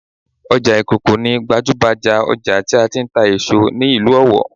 Ọjà ìkòkò ni gbajúhbajà ọjà tí a ti ń tà èso ní ìlú Ọ̀wọ̀